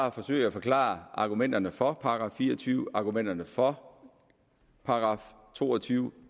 at forsøge at forklare argumenterne for § fire og tyve argumenterne for § to og tyve